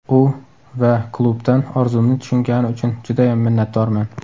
U va klubdan orzumni tushungani uchun judayam minnatdorman.